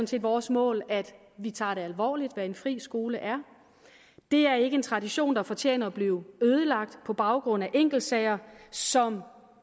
set vores mål at vi tager det alvorligt hvad en fri skole er det er ikke en tradition der fortjener at blive ødelagt på baggrund af enkeltsager som